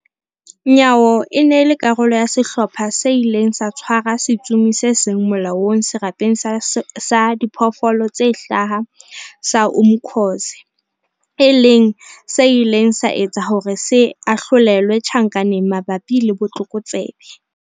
Nyawo e ne e le karolo ya sehlopha se ileng sa tshwara setsomi se seng molaong Serapeng sa Diphoofolo tse Hlaha sa Umkhuze, e leng se ileng sa etsa hore se ahlolelwe tjhankaneng mabapi le botlokotsebe.